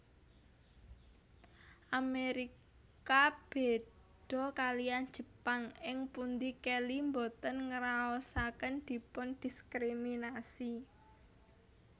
Amerika béda kaliyan Jepang ing pundi Kelly boten ngraosaken dipundiskriminasi